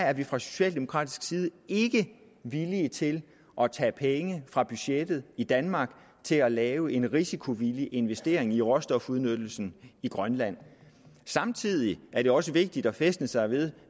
er vi fra socialdemokratisk side ikke villige til at tage penge fra budgettet i danmark til at lave en risikovillig investering i råstofudnyttelsen i grønland samtidig er det også vigtigt at fæstne sig ved